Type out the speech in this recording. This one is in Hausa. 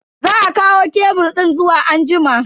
Za a kawo kebur din zuwa anjima.